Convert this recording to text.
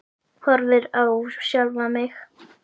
Horfi á sjálfa mig.